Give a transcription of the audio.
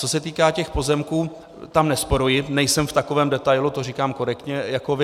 Co se týká těch pozemků, tam nesporuji, nejsem v takovém detailu, to říkám korektně, jako vy.